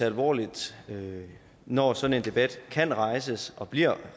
alvorligt når sådan en debat kan rejses og bliver